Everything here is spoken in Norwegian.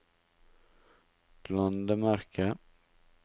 landemerke